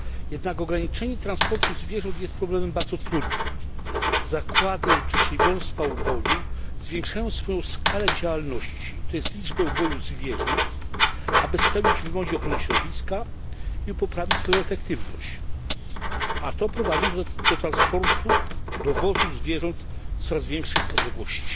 Jednak ograniczenie transportu zwierząt jest problemem bardzo trudnym. Zakłady i przedsiębiorstwa uboju zwiększają swoją skalę działalności, to jest liczbę uboju zwierząt, aby spełnić wymogi ochrony środowiska i poprawić swoją efektywność, a to prowadzi do dowozu zwierząt z coraz większych odległości.